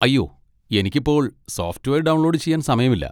അയ്യോ, എനിക്ക് ഇപ്പോൾ സോഫ്റ്റ്‌വെയർ ഡൗൺലോഡ് ചെയ്യാൻ സമയമില്ല.